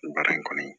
Baara in kɔni